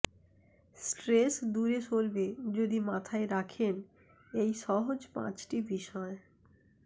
stress দূরে সরবে যদি মাথায় রাখেন এই সহজ পাঁচটি বিষয়